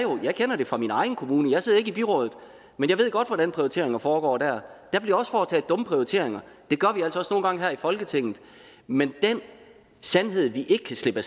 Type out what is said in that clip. jeg jo fra min egen kommune jeg sidder ikke i byrådet men jeg ved godt hvordan prioriteringer foregår dér der bliver også foretaget dumme prioriteringer og gange her i folketinget men den sandhed vi ikke kan slippe